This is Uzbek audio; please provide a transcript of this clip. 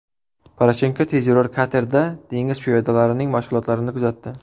Poroshenko tezyurar katerda dengiz piyodalarining mashg‘ulotlarini kuzatdi.